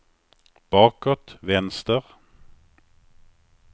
bakåt vänster